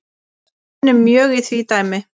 Við vinnum mjög í því dæmi